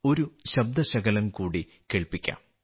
ഒരു ശബ്ദശകലം കൂടി കേൾപ്പിക്കാം